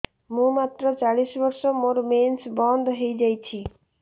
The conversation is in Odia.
ମୁଁ ମାତ୍ର ଚାଳିଶ ବର୍ଷ ମୋର ମେନ୍ସ ବନ୍ଦ ହେଇଯାଇଛି